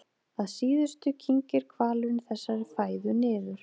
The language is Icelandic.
Að síðustu kyngir hvalurinn þessari fæðu niður.